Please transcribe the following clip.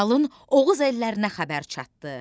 Qalın Oğuz ellərinə xəbər çatdı.